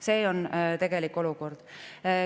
See on tegelik olukord.